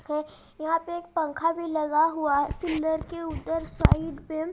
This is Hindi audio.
है यहां पे एक पंखा भी लगा हुआ है कूलर के उधर पे--